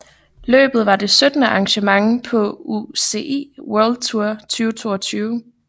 Løbet var det syttende arrangement på UCI World Tour 2022